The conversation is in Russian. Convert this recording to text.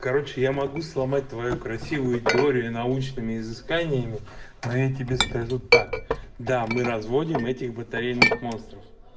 короче я могу сломать твою красивую теорию научными изысканиями а я тебе скажу так да мы разводим этих батарейных монстров